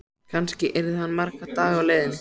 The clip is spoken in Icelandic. Kannski yrði hann marga daga á leiðinni.